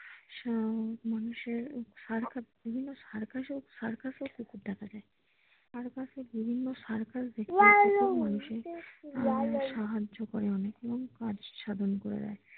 মানুষের circus বিভিন্ন circus এও কুকুর দেখা যায় circus এ বিভিন্ন circus দেখতে মানুষের আহ সাহায্য করে অনেক এবং কাজ সাধন করে দেয় ।